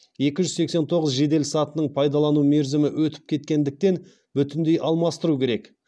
екі жүз сексен тоғыз жеделсатының пайдалану мерзімі өтіп кеткендіктен бүтіндей алмастыру керек